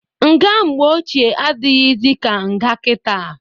Nga mgbe ochie adịghịzị ka nga kita.